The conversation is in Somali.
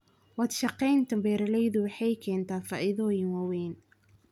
Wadashaqeynta beeralaydu waxay keentaa faa'iidooyin waaweyn.